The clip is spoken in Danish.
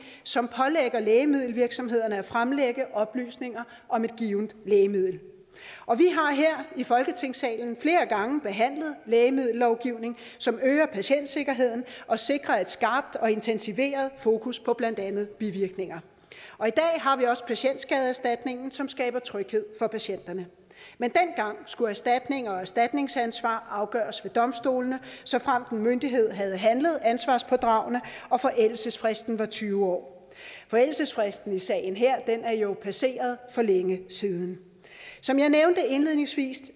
som pålægger lægemiddelvirksomhederne at fremlægge oplysninger om et givent lægemiddel og vi har her i folketingssalen flere gange behandlet lægemiddellovgivning som øger patientsikkerheden og sikrer et skarpt og intensiveret fokus på blandt andet bivirkninger og i dag har vi også patientskadeerstatningen som skaber tryghed for patienterne men dengang skulle erstatninger og erstatningsansvar afgøres ved domstolene såfremt en myndighed havde handlet ansvarspådragende og forældelsesfristen var tyve år forældelsesfristen i sagen her er jo passeret for længe siden som jeg nævnte indledningsvis